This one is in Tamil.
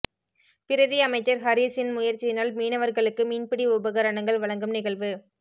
பிரதி அமைச்சர் ஹரீஸின் முயற்சியினால் மீனவர்களுக்கு மீன்பிடி உபகரணங்கள் வழங்கும் நிகழ்வு